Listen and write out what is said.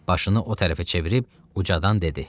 Başını o tərəfə çevirib ucadan dedi: